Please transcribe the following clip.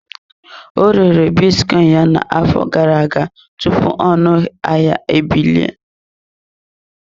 Ọ rere bitcoin ya n'afọ gara aga tupu ọnụ ahịa ebilie.